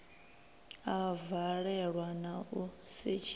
a valelwa na u setshiwa